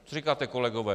Co říkáte, kolegové?